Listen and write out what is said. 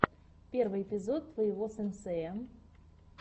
первый эпизод твоего сенсея